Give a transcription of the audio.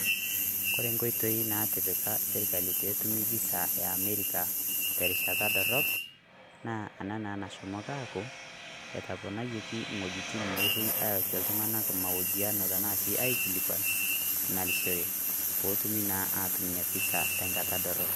Wore nkoitoi natipika sirkali petumi visa e america te rishata dorop naa enaa nashomoki aaku etoponayieki wuejiting napuooi aasie mahojiano aashu aikilikuanishore petumi inaa visa tenkata dorop